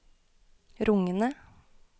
rungende